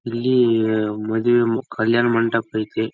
ಇಲ್ಲಿ ಮದುವೆ ಕಲ್ಯಾಣ ಮಂಟಪ ಅಯ್ತಿ.